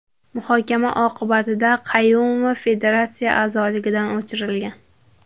Muhokama oqibatida Qayumova federatsiya a’zoligidan o‘chirilgan.